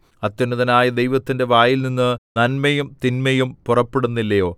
അത്യുന്നതനായ ദൈവത്തിന്റെ വായിൽനിന്ന് നന്മയും തിന്മയും പുറപ്പെടുന്നില്ലയോ